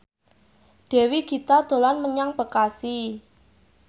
Dewi Gita dolan menyang Bekasi